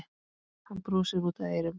Hann brosir út að eyrum.